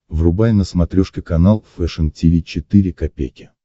врубай на смотрешке канал фэшн ти ви четыре ка